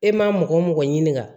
E ma mɔgɔ mɔgɔ ɲinika